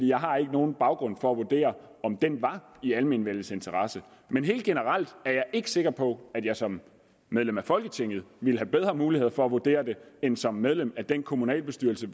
jeg har ikke nogen baggrund for at vurdere om den var i almenvellets interesse men helt generelt er jeg ikke sikker på at jeg som medlem af folketinget ville have bedre muligheder for at vurdere det end som medlem af den kommunalbestyrelse i